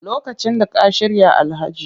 Lokacin da ka shirya Alhaji